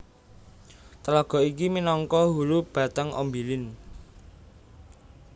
Tlaga iki minangka hulu Batang Ombilin